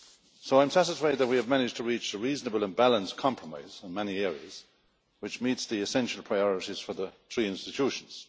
So I'm satisfied that we have managed to reach a reasonable and balanced compromise in many areas, which meets the essential priorities for the three institutions.